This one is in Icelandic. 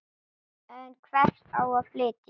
En hvert á að flytja?